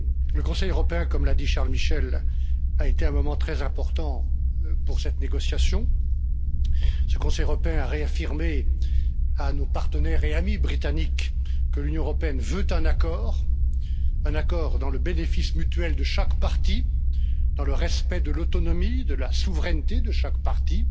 Le Conseil européen, comme l'a dit Charles Michel, a été un moment très important pour cette négociation ce Conseil européen a réaffirmé à nos partenaires et amis britanniques que l'Union européenne veut un accord, un accord dans le bénéfice mutuel de chaque partie, dans le respect de l'autonomie et de la souveraineté de chaque partie,